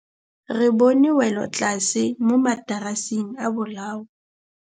Re bone wêlôtlasê mo mataraseng a bolaô.